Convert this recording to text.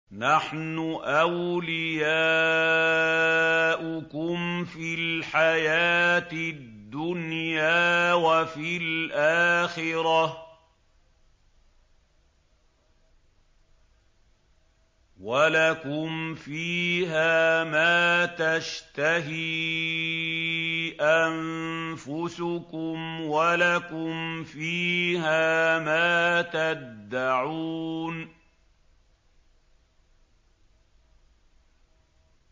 نَحْنُ أَوْلِيَاؤُكُمْ فِي الْحَيَاةِ الدُّنْيَا وَفِي الْآخِرَةِ ۖ وَلَكُمْ فِيهَا مَا تَشْتَهِي أَنفُسُكُمْ وَلَكُمْ فِيهَا مَا تَدَّعُونَ